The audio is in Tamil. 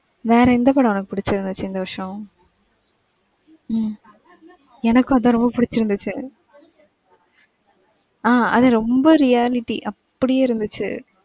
வேற எந்த படம் உனக்கு புடிச்சுருந்துச்சு இந்த வருஷம்? உம் எனக்கு அதான் ரொம்ப புடிச்சுருந்துச்சு. ஆஹ் அது ரொம்ப reality அப்படியே இருந்துச்சு.